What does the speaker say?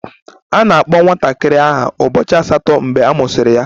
A na-akpọ nwatakịrị aha ụbọchị asatọ mgbe a mụsịrị ya